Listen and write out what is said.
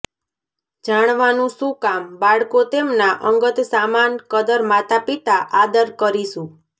જાણવાનું શું કામ બાળકો તેમના અંગત સામાન કદર માતાપિતા આદર કરીશું